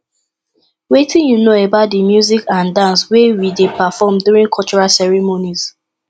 wetin you know about di music and dance wey we dey perform during cultural ceremonies